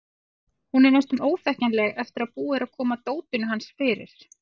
Hún er næstum óþekkjanleg eftir að búið er að koma dótinu hans fyrir.